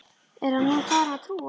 Er hann nú farinn að trúa?